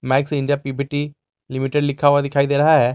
Max India P P T Limited लिखा हुआ दिखायी दे रहा है।